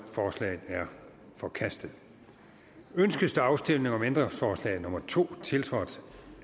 forslaget er forkastet ønskes afstemning om ændringsforslag nummer to tiltrådt